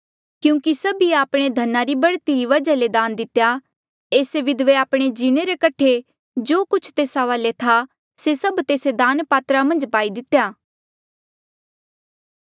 क्यूंकि सभिऐ आपणे धना री बढ़ती री वजहा ले दान दितेया एस्से विधवे आपणे जीणे रे कठे जो कुछ तेस्सा वाले था से सभ तेस्से दान पात्रा मन्झ पाई दितेया